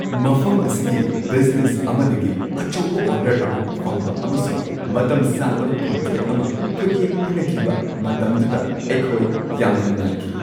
ꯃꯐꯝ ꯑꯁꯤꯒꯤ ꯕꯤꯖꯤꯅꯦꯁ ꯑꯃꯗꯒꯤ ꯑꯆꯧꯕ ꯑꯣꯔꯗꯔ ꯑꯃ ꯐꯪꯕ ꯑꯃꯁꯨꯡ ꯃꯇꯝ ꯁꯥꯡꯂꯕ ꯀꯟꯇ꯭ꯔꯦꯛ ꯑꯃ ꯈꯨꯠꯌꯦꯛ ꯄꯤꯅꯈꯤꯕ ꯃꯇꯝꯗꯨꯗ ꯑꯩꯈꯣꯏ ꯌꯥꯝꯅ ꯅꯨꯡꯉꯥꯏꯈꯤ꯫